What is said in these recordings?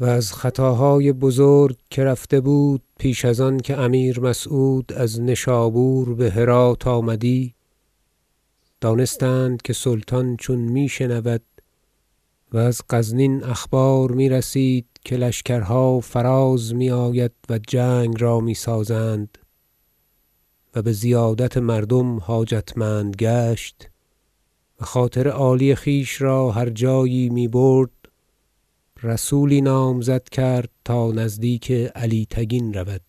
و از خطاهای بزرگ که رفته بود پیش از آن که امیر مسعود از نشابور به هرات آمدی دانستند که سلطان چون می شنود و از غزنین اخبار میرسید که لشکرها فراز می آید و جنگ را میسازند و به زیادت مردم حاجتمند گشت و خاطر عالی خویش را هر جایی می برد رسولی نامزد کرد تا نزدیک علی تگین رود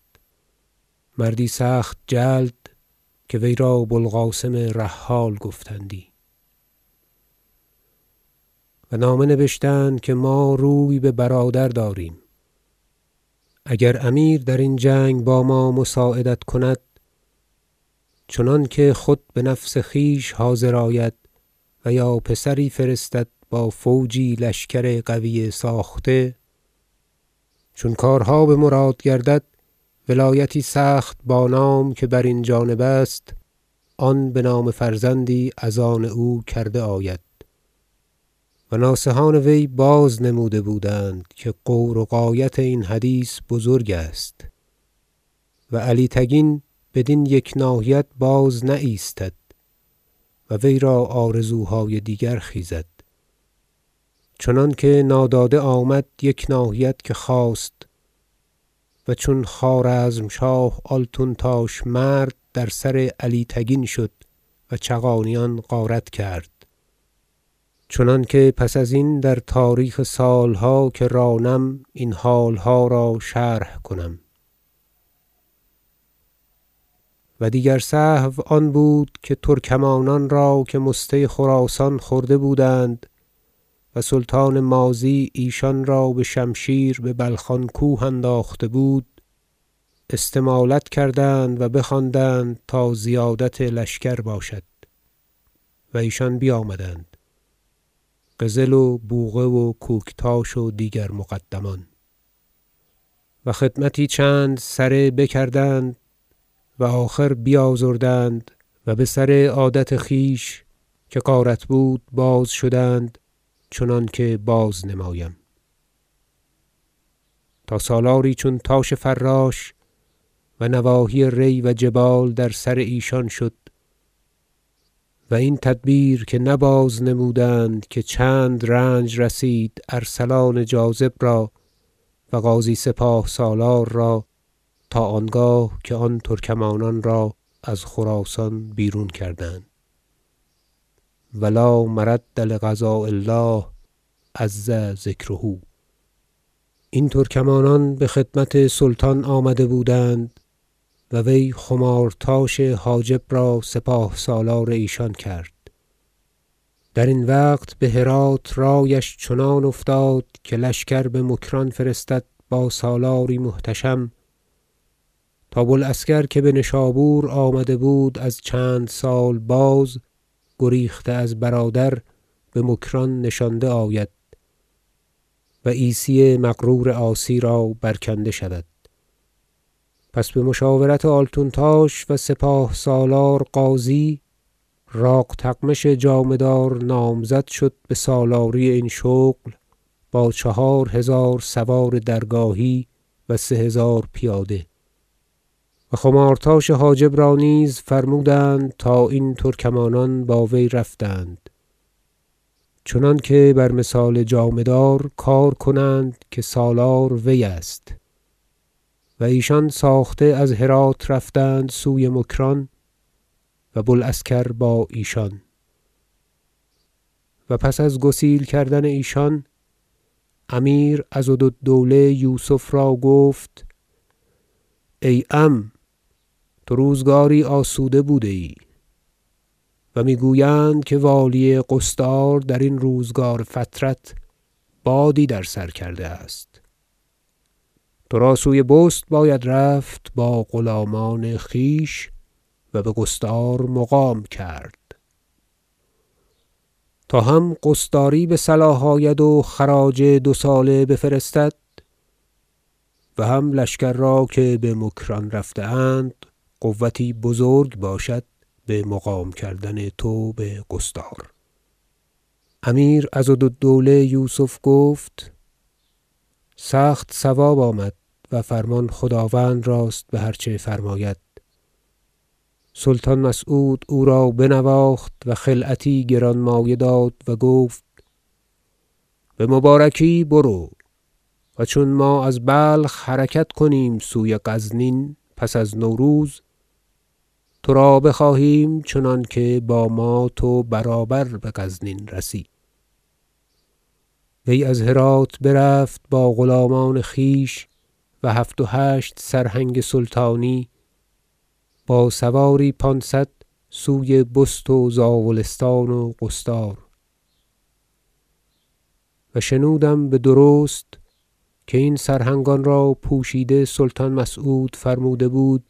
مردی سخت جلد که وی را بوالقاسم رحال گفتندی و نامه نبشتند که ما روی به برادر داریم اگر امیر درین جنگ با ما مساعدت کند چنانکه خود به نفس خویش حاضر آید و یا پسری فرستد با فوجی لشکر قوی ساخته چون کارها به مراد گردد ولایتی سخت بانام که برین جانب است آن به نام فرزندی از آن او کرده آید و ناصحان وی باز نه نموده بودند که غور و غایت این حدیث بزرگ است و علی تگین بدین یک ناحیت بازنایستد و ویرا آرزوهای دیگر خیزد چنانکه ناداده آمد یک ناحیت که خواست و چون خوارزمشاه آلتونتاش مرد در سر علی تگین شد و چغانیان غارت کرد چنانکه پس از این در تاریخ سالها که رانم این حالها را شرح کنم و دیگر سهو آن بود که ترکمانان را که مسته خراسان بخورده بودند و سلطان ماضی ایشان را به شمشیر به بلخان کوه انداخته بود استمالت کردند و بخواندند تا زیادت لشکر باشد و ایشان بیامدند قزل و بوقه و کوکتاش و دیگر مقدمان و خدمتی چند سره بکردند و آخر بیازردند و به سر عادت خویش که غارت بود باز شدند چنانکه بازنمایم تا سالاری چون تاش فراش و نواحی ری و جبال در سر ایشان شد و این تدبیر که نه بازنمودند که چند رنج رسید ارسلان جاذب را و غازی سپاه سالار را تا آنگاه که آن ترکمانان را از خراسان بیرون کردند و لا مرد لقضاء الله عز ذکره این ترکمانان به خدمت سلطان آمده بودند و وی خمارتاش حاجب را سپاه سالار ایشان کرد درین وقت به هرات رأیش چنان افتاد که لشکر به مکران فرستد با سالاری محتشم تا بوالعسکر که به نشابور آمده بود از چند سال باز گریخته از برادر به مکران نشانده آید و عیسی مغرور عاصی را برکنده شود پس به مشاورت آلتونتاش و سپا ه سالار غازی راقتغمش جامه دار نامزد شد به سالاری این شغل با چهارهزار سوار درگاهی و سه هزار پیاده و خمارتاش حاجب را نیز فرمودند تا این ترکمانان با وی رفتند چنانکه بر مثال جامه دار کار کنند که سالار وی است و ایشان ساخته از هرات رفتند سوی مکران و بوالعسکر با ایشان و پس از گسیل کردن ایشان امیر عضدالدوله یوسف را گفت ای عم تو روزگاری آسوده بوده ای و میگویند که والی قصدار در این روزگار فترت بادی در سر کرده است ترا سوی بست باید رفت با غلامان خویش و به قصدار مقام کرد تا هم قصداری به صلاح آید و خراج دوساله بفرستد و هم لشکر را که به مکران رفته اند قوتی بزرگ باشد به مقام کردن تو به قصدار امیر عضدالدوله یوسف گفت سخت صواب آمد و فرمان خداوند راست به هر چه فرماید سلطان مسعود او را بنواخت و خلعتی گرانمایه داد و گفت بمبارکی برو و چون ما از بلخ حرکت کنیم سوی غزنین پس از نوروز ترا بخواهیم چنانکه با ما تو برابر به غزنین رسی وی از هرات برفت با غلامان خویش و هفت و هشت سرهنگ سلطانی با سواری پانصد سوی بست و زاولستان و قصدار و شنودم بدرست که این سرهنگانرا پوشیده سلطان مسعود فرموده بود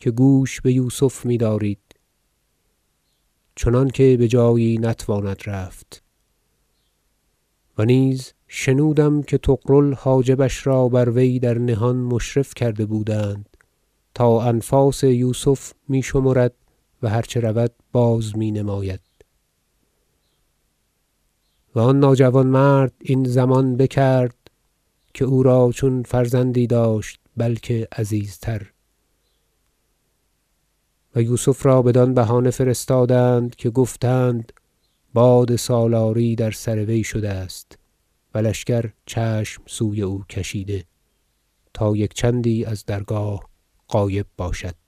که گوش به یوسف میدارید چنانکه به جایی نتواند رفت و نیز شنودم که طغرل حاجبش را بر وی در نهان مشرف کرده بودند تا انفاس یوسف میشمرد و هرچه رود بازمینماید و آن ناجوانمرد این ضمان بکرد که او را چون فرزندی داشت بلکه عزیزتر و یوسف را بدان بهانه فرستادند که گفتند باد سالاری در سر وی شده است و لشکر چشم سوی او کشیده تا یک چندی از درگاه غایب باشد